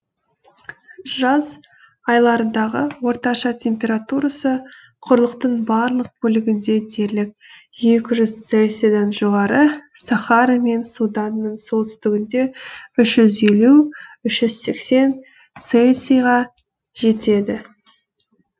жаз айларындағы орташа температурасы құрлықтың барлық бөлігінде дерлік екі жүз цельсийдан жоғары сахара мен суданның солтүстігінде үш жүз елу үш жүз сексен цельсийға жетеді